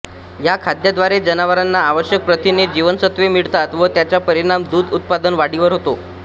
या खाद्याद्वारे जनावरांना आवश्यक प्रथिने जीवनसत्वे मिळतात व त्याचा परिणाम दुध उत्पादन वाढीवर होतो